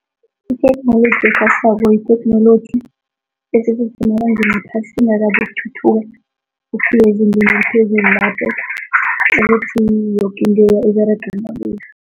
Ithoknoloji ekhasako yitheknoloji esesesemabangeni aphasi, ingakabi ukuthuthuka ukufika ezingeni eliphezulu lapho ukuthi yoke into